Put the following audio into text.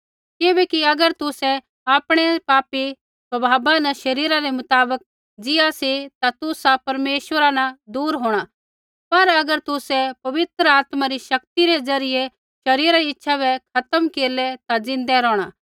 किबैकि अगर तुसै आपणै पापी स्वभावा न शरीरा रै मुताबक ज़ीआ सी ता तुसा परमेश्वरा न दूर होंणा पर अगर तुसै पवित्र आत्मा री शक्ति रै ज़रियै शरीरा री इच्छा बै खत्म केरलै ता ज़िन्दै रौहणा